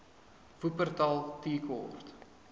wupperthal tea court